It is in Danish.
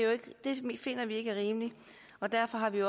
finder vi ikke er rimeligt og derfor har vi